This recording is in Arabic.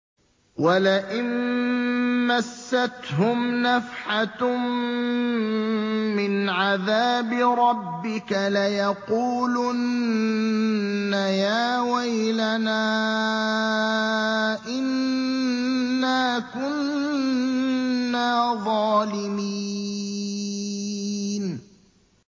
وَلَئِن مَّسَّتْهُمْ نَفْحَةٌ مِّنْ عَذَابِ رَبِّكَ لَيَقُولُنَّ يَا وَيْلَنَا إِنَّا كُنَّا ظَالِمِينَ